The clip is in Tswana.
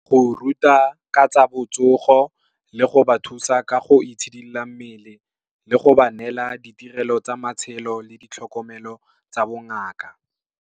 Go ruta ka tsa botsogo, le go ba thusa ka go itshidila mmele, le go ba neela ditirelo tsa matshelo le ditlhokomelo tsa bongaka.